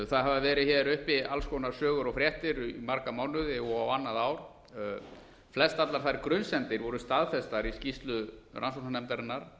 það hafa verið hér uppi alls konar sögur og fréttir í marga mánuði og á annað ár flestallar þær grunsemdir voru staðfestar í skýrslu rannsóknarnefndarinnar